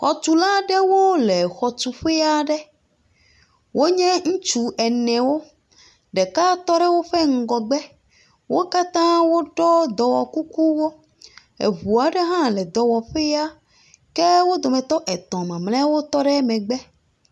Xɔtula ɖewo le xɔtuƒe aɖe. Wonye ŋutsu enewo. Ɖeka tɔ ɖe woƒe ŋgɔgbe. Wo katã woɖɔ dɔwɔkukuwo. Eŋu aɖe hã le dɔwɔƒea ke wo dometɔ etɔ̃ mamleawo tɔ ɖe megbe.